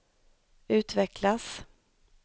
utvecklas